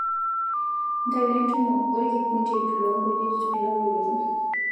ntayu entumo olkikundi lo nkujit olapa olotu